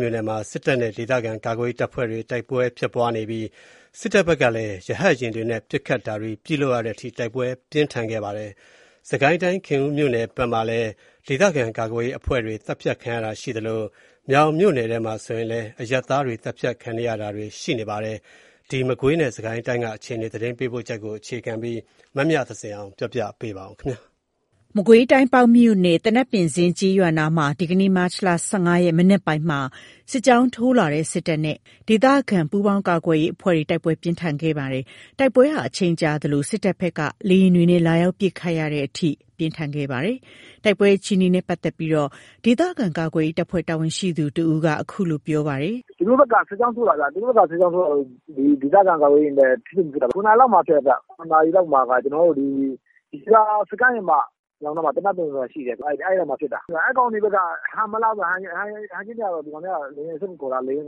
မြို့နယ်မှာ စစ်တပ်နဲ့ ဒေသခံကာကွယ်ရေးတပ်ဖွဲ့တွေ တိုက်ပွဲဖြစ်ပွားနေပြီး စစ်တပ်ဘက်က ရဟတ်ယာဉ်တွေနဲ့ ပစ်ခတ်တာတွေပြုလုပ်တဲ့အထိ တိုက်ပွဲပြင်းထန်ခဲ့ပါတယ်။ စစ်ကိုင်းတိုင်း၊ ခင်ဦးမြို့နယ်မှာလည်း ဒေသခံကာကွယ်ရေးအဖွဲ့တွေ သတ်ဖြတ်ခံရတာရှိသလို မြောင်မြို့နယ်ထဲမှာလည်း အရပ်သားတွေ သတ်ဖြတ်ခံနေရတာတွေ ရှိနေပါတယ်။ မကွေးတိုင်းနဲ့ စစ်ကိုင်းတိုင်းက အခြေအနေ သတင်းပေးပို့ချက်ကို အခြေခံပြီး မမြသဇင်အောင်က ပြောပြပါမယ်။ မကွေးတိုင်း၊ ပေါက်မြို့နယ်၊ သနပ်ပင်ဇင်း ကျေးရွာအနီးမှာ ဒီကနေ့ မတ်လ ၁၅ ရက် မနက်ပိုင်းမှာ စစ်ကြောင်းထိုးလာတဲ့ စစ်တပ်နဲ့ ဒေသခံ ပူးပေါင်းကာကွယ်ရေးအဖွဲ့တွေ တိုက်ပွဲ ပြင်းထန်ခဲ့ပါတယ်။ တိုက်ပွဲဟာ အချိန်ကြာသလို စစ်တပ်ဘက်က လေယာဉ်တွေနဲ့ လာရောက် ပစ်ခတ်ရတဲ့အထိ ပြင်းထန်ခဲ့ပါတယ်။ တိုက်ပွဲအခြေအနေနဲ့ ပတ်သက်လို့ ဒေသခံကာကွယ်ရေးတပ်ဖွဲ့ တာဝန်ရှိသူတစ်ဦးက အခုလို ပြောပါတယ်။ “သူတို့ဘက်က စစ်ကြောင်းထိုးလာတာ။ သူတို့ဘက်က စစ်ကြောင်းထိုးလာတော့ ဒေသခံကာကွယ်ရေးတွေနဲ့ ထိတွေ့မှုဖြစ်တာ။ ၇ နာရီလောက်မှာဖြစ်တာ။ ၇ နာရီလောက်မှာ ရေပြာ စခန်းရဲ့ အနောက်နားမှာ သနပ်ပင်ဇင်း ဆိုတာရှိတယ်၊ အဲ့နားမှာဖြစ်တာ။ အဲ့ကောင်တွေဘက်က ဟန်မလှတော့ ဒီကောင်တွေက လေယာဉ်စစ်ကူခေါ်တာ။ အဲ့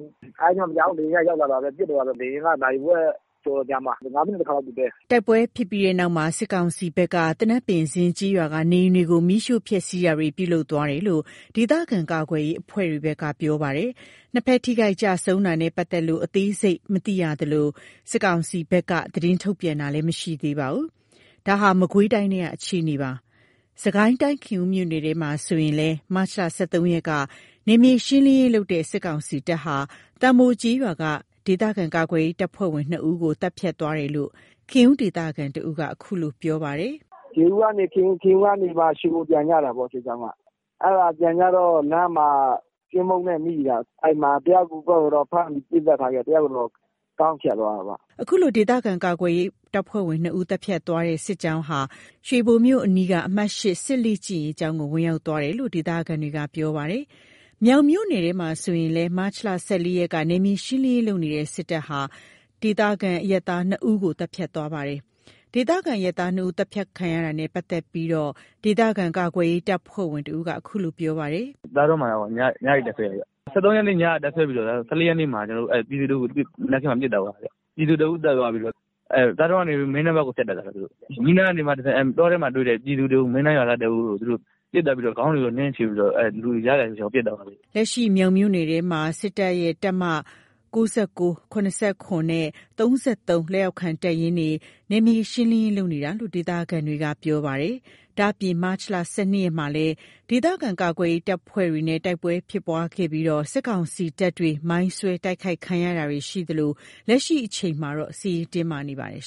ဒါ မကြာဘူး လေယာဉ်ကရောက်လာတော့ ပစ်တော့တာပဲ။ လေယာဉ်က နာရီဝက်ကျော်လောက်ကြာတာ။ ၅ မိနစ် ၁ ခါလောက်ပစ်တယ်။” တိုက်ပွဲဖြစ်ပွားပြီးတဲ့နောက် စစ်ကောင်စီဘက်က သနပ်ပင်ဇင်း ကျေးရွာကနေအိမ်တွေကို မီးရှို့ဖျက်ဆီးတာတွေ ပြုလုပ်သွားတယ်လို့ ဒေသခံကာကွယ်ရေးအဖွဲ့တွေဘက်က ပြောပါတယ်။ ၂ ဖက်ထိခိုက်ကျဆုံးတာနဲ့ပတ်သက်လို့ အသေးစိတ်မရှိရသေးသလို စစ်ကောင်စီဘက်ကလည်း သတင်းထုတ်ပြန်တာမရှိသေးပါဘူး။ ဒါက မကွေးတိုင်းထဲကအခြေအနေပါ။ စစ်ကိုင်းတိုင်း ခင်ဦးမြို့နယ်ထဲမှာဆိုရင်လည်း မတ်လ ၁၃ ရက်က နယ်မြေရှင်းလင်းရေးလုပ်နေတဲ့ စစ်ကောင်စီတပ်ဟာ သံပို ကျေးရွာက ဒေသခံကာကွယ်ရေး တပ်ဖွဲ့ဝင် ၂ ဦးကို သတ်ဖြတ်သွားတယ်လို့ ခင်ဦးဒေသခံတဦးက အခုလို ပြောပါတယ်။ “ရေဦးကနေ ခင်ဦး။ ခင်ဦးကနေ ရွှေဘို ပြန်ကြတာပေါ့။ စစ်ကြောင်းက အဲ့ဒါပြန်ကြတော့ လမ်းမှာ ကင်းပုန်းနဲ့မိတာ။ အဲ့မှာ တယောက်ကိုတော့ ဖမ်းပြီး ပစ်သတ်ထားခဲ့တယ်။ တယောက်ကိုတော့ ခေါင်းဖြတ်သွားတာပေါ့။” အခုလို ဒေသခံကာကွယ်ရေးတပ်ဖွဲ့ဝင် ၂ ဦးကို သတ်ဖြတ်သွားတဲ့ စစ်ကြောင်းဟာ ရွှေဘိုမြို့အနီးက အမှတ် စစ်လေ့ကျင့်ရေးကျောင်းကို ဝင်ရောက်သွားတယ်လို့ ဒေသခံတွေက ပြောပါတယ်။ မြောင်မြို့နယ်ထဲမှာဆိုရင်လည်း မတ်လ ၁၄ ရက်က နယ်မြေရှင်းလင်းရေးလုပ်နေတဲ့ စစ်တပ်ဟာ ဒေသခံအရပ်သား ၂ ဦးကိုလည်း သတ်ဖြတ်သွားပါတယ်။ ဒေသခံ အရပ်သား ၂ ဦး သတ်ဖြတ်ခံရတာနဲ့ ပတ်သက်လို့ ဒေသခံကာကွယ်ရေး တပ်ဖွဲ့ဝင်တဦးက အခုလို ပြောပါတယ်။ “သာဒွန်းမှာ ညအိပ်တပ်စွဲတယ်။ ၁၃ ရက်နေ့မှာ ညအိပ်တပ်စွဲပြီးတော့ ၁၄ ရက် မနက်ခင်းမှာ ပြည်သူ တစ်ဦးကို ပစ်သတ်သွားတယ်။ ပြည်သူ တစ်ဦးကို သတ်သွားပြီးတော့ သာဒွန်းကနေ မင်းတန်းဘက်ကို ဖြတ်တက်တာ မင်းတန်းကနေ တဆင့် တောထဲမှာတွေ့တဲ့ ပြည်သူတစ်ဦးကို မင်းတန်းရွာသားတစ်ဦးကို သူတို့ပစ်သတ်ပြီး ခေါင်းတွေကို နင်းခြေပြီး ရစရာမရှိအောင် ပစ်သတ်သွားတယ်။” လက်ရှိ မြောင်မြို့နယ်ထဲမှာ စစ်တပ်ရဲ့ တပ်မ နဲ့ လက်အောက်ခံ တပ်ရင်းတွေက နယ်မြေရှင်းလင်းရေးလုပ်နေတာလို့လည်း ဒေသခံတွေက ပြောပါတယ်။ ဒါ့အပြင် မတ်လ ၁၂ ရက်မှာလည်း ဒေသခံကာကွယ်ရေး တပ်ဖွဲ့တွေနဲ့ တိုက်ပွဲဖြစ်ပွားခဲ့ပြီး စစ်ကောင်စီတပ်တွေ မိုင်းဆွဲ တိုက်ခိုက်ခံရတာတွေလည်း ရှိသလို လက်ရှိအချိန်မှာ စစ်ရေးတင်းမာနေပါတယ်